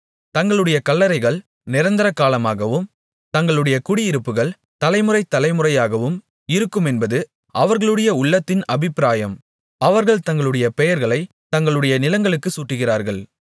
தங்களுடைய கல்லறைகள் நிரந்தரகாலமாகவும் தங்களுடைய குடியிருப்புகள் தலைமுறை தலைமுறையாகவும் இருக்குமென்பது அவர்களுடைய உள்ளத்தின் அபிப்பிராயம் அவர்கள் தங்களுடைய பெயர்களைத் தங்களுடைய நிலங்களுக்குச் சூட்டுகிறார்கள்